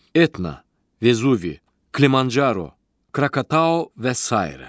Etna, Vezuvi, Klimancaro, Krakatao və sairə.